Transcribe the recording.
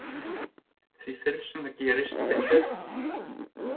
Því fyrr sem það gerist þeim betra.